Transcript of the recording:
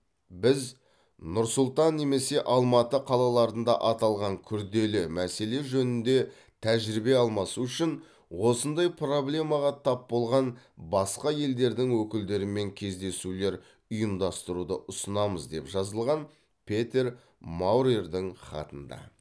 біз нұр сұлтан немесе алматы қалаларында аталған күрделі мәселе жөнінде тәжірибе алмасу үшін осындай проблемаға тап болған басқа елдердің өкілдерімен кездесулер ұйымдастыруды ұсынамыз деп жазылған петер маурердің хатында